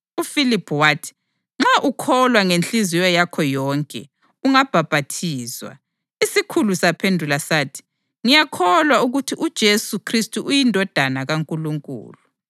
UFiliphu wathi, “Nxa ukholwa ngenhliziyo yakho yonke ungabhaphathizwa.” Isikhulu saphendula sathi, “Ngiyakholwa ukuthi uJesu Khristu uyiNdodana kaNkulunkulu.”] + 8.37 Livesi ayikho kwamanye amaBhayibhili esiLungu.